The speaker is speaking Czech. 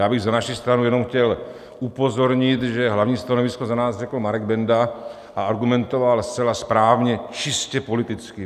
Já bych za naši stranu jenom chtěl upozornit, že hlavní stanovisko za nás řekl Marek Benda a argumentoval zcela správně čistě politicky.